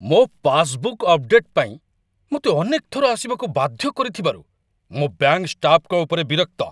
ମୋ passbook update ପାଇଁ ମୋତେ ଅନେକ ଥର ଆସିବାକୁ ବାଧ୍ୟ କରିଥିବାରୁ, ମୁଁ ବ୍ୟାଙ୍କ୍‌ ଷ୍ଟାଫ୍‌‌ଙ୍କ ଉପରେ ବିରକ୍ତ।